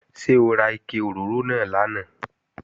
Ṣé ó ra ike òróró náà lánàá?